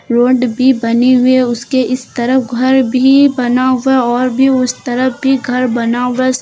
Road भी बने हुए है उसके इस तरफ घर भी बना हुआ और भी उस तरफ भी घर बना हुआ है।